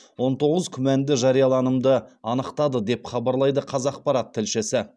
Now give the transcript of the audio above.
он тоғыз күмәнді жарияланымды анықтады деп хабарлайды қазақпарат тілшісі